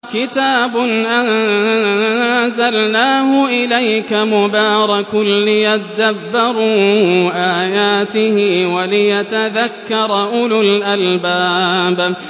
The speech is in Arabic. كِتَابٌ أَنزَلْنَاهُ إِلَيْكَ مُبَارَكٌ لِّيَدَّبَّرُوا آيَاتِهِ وَلِيَتَذَكَّرَ أُولُو الْأَلْبَابِ